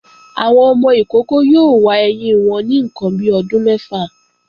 Àwọn ọmọ ìkókó yóò wa ẹyín wọn ní ǹkan bi ọdún mẹ́fà